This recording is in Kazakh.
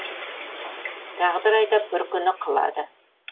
тағдыр айдап бір күні қылады